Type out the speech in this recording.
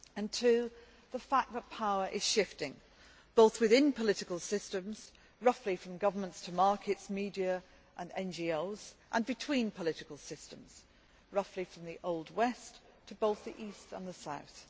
Two, the fact that power is shifting, both within political systems roughly from governments to markets, media and NGOs and between political systems roughly from the old West' to both the east and the south.